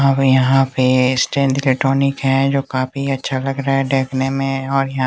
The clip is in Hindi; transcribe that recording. अब यहाँ पे स्टैंड का टॉनिक है जो काफी अच्छा लग रहा है देखने में और यहाँ --